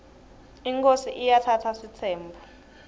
inkhosi iatsatsa sitsembu